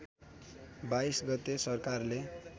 २२ गते सरकारले